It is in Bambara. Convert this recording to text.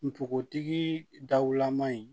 Npogotigi daw lama in